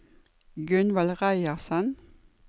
Gunvald Reiersen